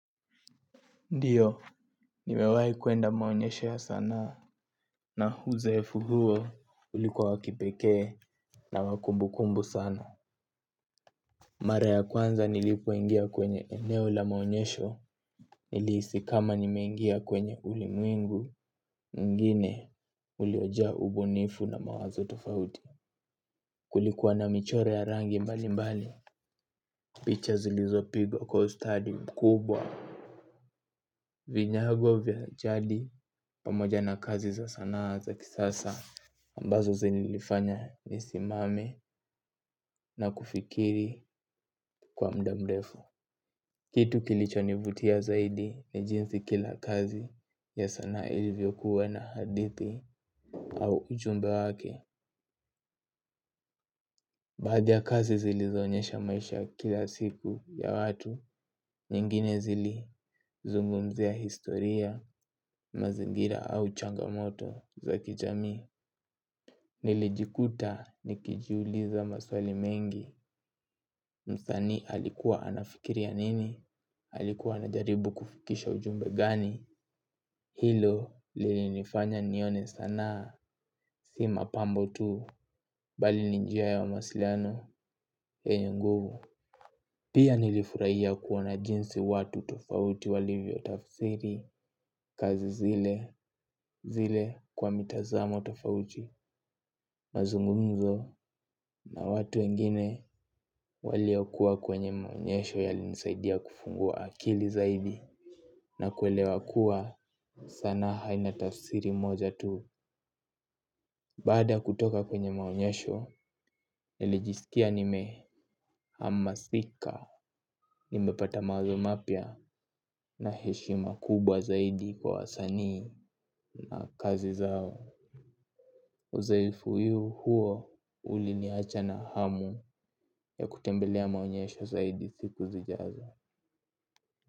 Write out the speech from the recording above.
Ndiyo, nimewai kuenda maonyesho ya sanaa na uzoefu huo ulikuwa wa kipekee na wa kumbukumbu sana. Mara ya kwanza nilipoingia kwenye eneo la maonyesho, nilihisi kama nimengia kwenye ulimwengu, mwingine uliojaa ubunifu na mawazo tofauti. Kulikuwa na michoro ya rangi mbali mbali, picha zilizo pigwa kwa ustadi mkubwa. Vinyago vya jadi pamoja na kazi za sana za kisasa ambazo zilinilifanya nisimame na kufikiri kwa muda mdefu. Kitu kilichonivutia zaidi ni jinsi kila kazi ya sanaa ilivyokuwa na hadithi au ujumbe wake. Vya kazi zilizoonyesha maisha ya kila siku ya watu nyingine zilizungumzia historia mazingira au changamoto za kijamii. Nilijikuta nikijiuliza maswali mengi, msanii alikuwa anafikiria nini, alikuwa anajaribu kufikisha ujumbe gani, hilo lilinifanya nione sanaa, si mapambo tu, bali ni njia ya mawasiliano, yenye nguvu. Pia nilifurahia kuona jinsi watu tofauti walivyo tafsiri, kazi zile, zile kwa mitazamo tofauti, mazungumzo na watu wengine waliokuwa kwenye maonyesho walinisaidia kufungua akili zaidi na kuelewa kuwa sanaa haina tafsiri moja tu. Baada ya kutoka kwenye maonyesho, nilijisikia nimehamasika, nimepata maui mapya na heshima kubwa zaidi kwa wasanii na kazi zao. Uzoefu huo uliniacha na hamu ya kutembelea maonyesho zaidi siku zijazo.